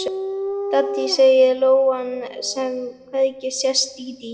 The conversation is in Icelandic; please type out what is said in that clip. Dídí, segir lóan sem hvergi sést, dídí.